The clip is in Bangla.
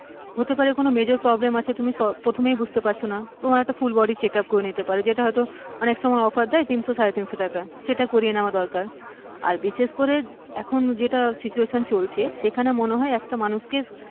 হতে পারে তোমার major problem আছে তুমি প্রথমেই বুঝতে পারছো না নেওয়া দরকার, তোমার একটা full body checkup করিয়ে নিতে পারো, যেটা হয়তো অনেক সময় অফার দেয় তিনশো সাড়েতিনশো টাকা, সেটা করিয়ে নেওয়া দরকার আর বিশেষ করে যেটা situtation চলছে সেখানে মানুষকে,